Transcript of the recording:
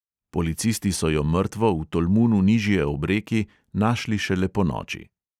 Policisti so jo mrtvo v tolmunu nižje ob reki našli šele ponoči.